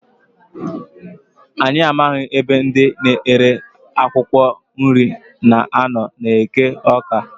Anyị amaghị ebe ndị na-ere akwụkwọ nri na-anọ n' eke Awka.